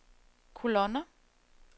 kolonner